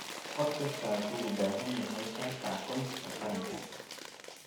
Qof kastaa wuxuu u baahan yahay kaarka aqoonsiga qaranka.